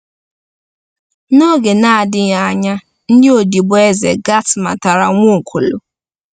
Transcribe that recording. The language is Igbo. N’oge na-adịghị anya, ndị odibo eze Gat matara Nwaokolo.